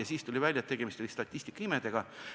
–, siis aga tuli välja, et tegemist oli statistikaimedega.